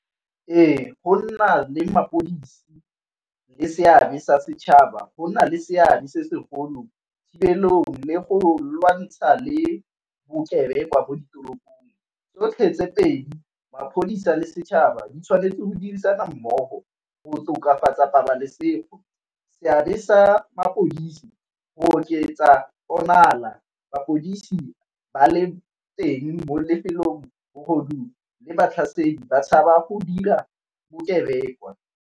Ee, go nna le mapodisi le seabe sa setšhaba go na le seabe se segolo thibelong le go lwantsha le bokebekwa ko ditoropong. Tsotlhe tse pedi maphodisa le setšhaba di tshwanetse o dirisana mmogo go tokafatsa pabalesego. Seabe sa mapodisi go oketsa mapodisi ba le teng mo lefelong bogodu le batlhasedi ba tshaba go dira bokebekwa.